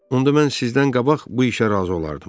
Onda mən sizdən qabaq bu işə razı olardım.